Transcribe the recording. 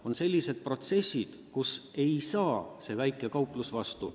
On sellised protsessid, mille tõttu ei saa väikesed kauplused suurte vastu.